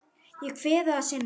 Ég kveð þig að sinni.